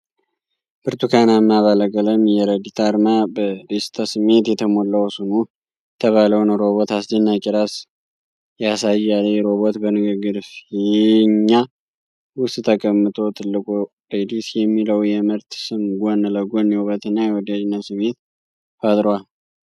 ብርቱካናማ ባለቀለም የረዲት አርማ በደስታ ስሜት የተሞላውን ሱኖ የተባለውን ሮቦት አስደናቂ ራስ ያሳያል። ይህ ሮቦት በንግግር ፊኛ ውስጥ ተቀምጦ ትልቁ "ሬዲት" የሚለው የምርት ስም ጎን ለጎን የውበትንና የወዳጅነት ስሜትን ፈጥሯል።